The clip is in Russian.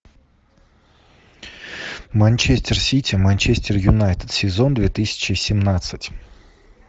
манчестер сити манчестер юнайтед сезон две тысячи семнадцать